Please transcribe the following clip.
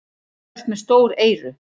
Þú ert með stór eyru.